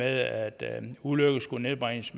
at ulykkerne skulle nedbringes